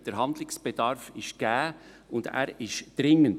Der Handlungsbedarf ist gegeben und er ist dringend.